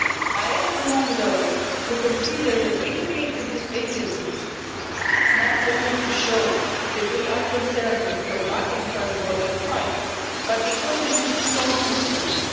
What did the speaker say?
I am among those who consider that we created this Agency not only to show that we are concerned with combating transborder crime, but because we need strong instruments.